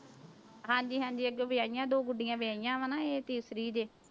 ਹਾਂਜੀ ਹਾਂਜੀ ਅੱਗੇ ਵਿਆਹੀਆਂ ਦੋ ਗੁਡੀਆਂ ਵਿਆਹੀਆਂ ਵਾਂ ਨਾ ਇਹ ਤੀਸਰੀ ਜੇ।